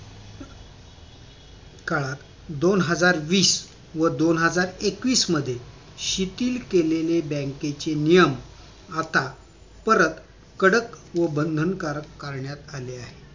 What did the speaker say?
काळात दोन हजार वीस व दोन हजार एकवीस मध्ये शिथिल केलेले बँकेचे नियम आता परत कडक व बंधनकारक करण्यात आले आहेत